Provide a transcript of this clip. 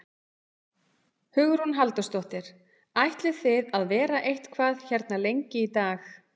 Hugrún Halldórsdóttir: Ætlið þið að vera eitthvað hérna lengi í dag?